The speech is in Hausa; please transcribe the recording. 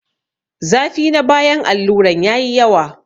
Zafi na bayan alluran yayi yawa.